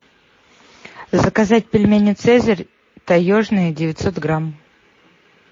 заказать пельмени цезарь таежные девятьсот грамм